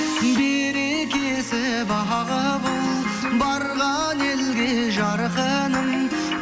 берекесі бағы бол барған елге жарқыным